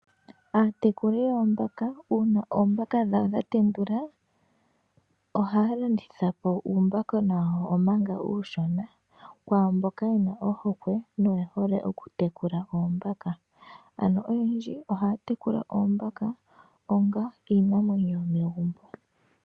Aatekuli yoombaka uuna oombaka dhawo dhatendula ohaalanditha uumbaka uushona kwaamboka yehole noyena ohweke yokutekula oombaka .Noyendji ohaatekula oombaka onga iinamwenyo yomegumbo.